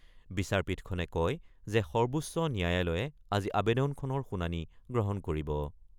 বিচাৰপীঠখনে কয় যে সৰ্বোচ্চ ন্যায়ালয়ে আজি আৱেদনখনৰ শুনানি গ্ৰহণ কৰিব।